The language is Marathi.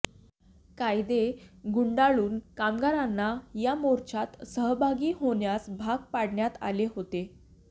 कायदे गुंडाळून कामगारांना या मोर्चात सहभागी होण्यास भाग पाडण्यात आले होते